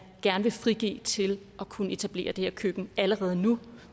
gerne vil frigive til at kunne etablere det her køkken allerede nu